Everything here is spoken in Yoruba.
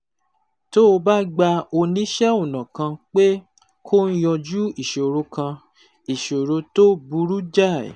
Tó o bá gba oníṣẹ́ ọnà kan pé kó yanjú ìṣòro kan, ìṣòro tó burú jáì